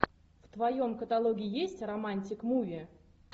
в твоем каталоге есть романтик муви